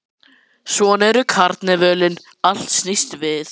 Ég hefi alltaf ánægju af að skoða myndir eftir þá.